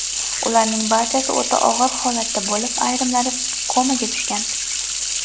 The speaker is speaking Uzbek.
Ularning barchasi o‘ta og‘ir holatda bo‘lib, ayrimlari komaga tushgan.